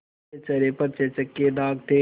उसके चेहरे पर चेचक के दाग थे